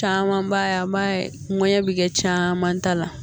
Caman b'a ye an b'a ye ŋɛɲɛ bi kɛ caman ta la